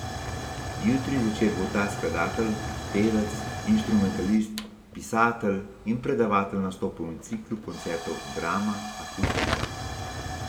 Jutri zvečer bo ta skladatlej, pevec, inštrumentalist, pisatelj in predavatelj nastopil v ciklu koncertov Drama Akustika.